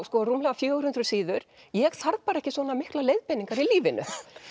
rúmlega fjögur hundruð síður ég þarf bara ekki svona miklar leiðbeiningar í lífinu